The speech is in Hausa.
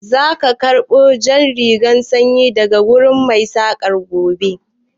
Za ka karɓo jan rigar sanyin daga wurin Mai saƙan gobe?